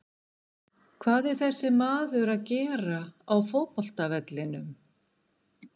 Hvað er þessi maður að gera á fótbolta vellinum?